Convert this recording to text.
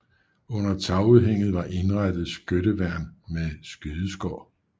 Under tagudhænget var indrettet skytteværn med skydeskår